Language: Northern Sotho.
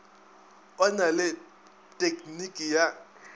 o na le tekniki ya